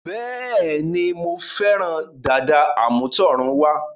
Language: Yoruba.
Bẹ́ẹ̀ni, Mo fẹ́ràn dàda àmútọ̀runwá